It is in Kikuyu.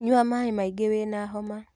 Nyua maĩmaingĩwĩna homa.